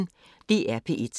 DR P1